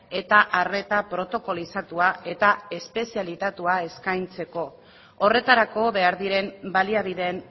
eta arreta protokolizatua eta espezializatua eskaintzeko horretarako behar diren baliabideen